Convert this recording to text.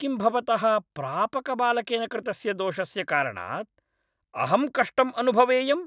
किं भवतः प्रापकबालकेन कृतस्य दोषस्य कारणात् अहं कष्टम् अनुभवेयम्?